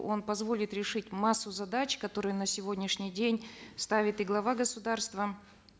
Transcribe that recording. он позволит решить массу задач которые на сегодняшний день ставит и глава государства